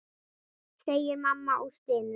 segir mamma og stynur.